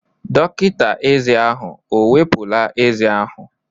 Dọkịta eze ahụ ewepụla eze ahụ?